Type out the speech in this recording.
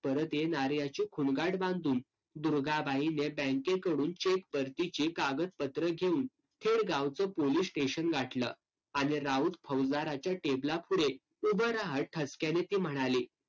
परत येणार याची खूणगाठ बांधून दुर्गाबाई बँकेकडून cheque परतीची कागदपत्र घेऊन थेट गावचं police station गाठलं. आणि राऊत फौजदारच्या टेबलापुढे उभं राहत ठसक्याने ती म्हणाली.